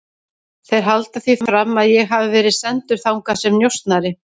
Þeir halda því fram að ég hafi verið sendur þangað sem njósnari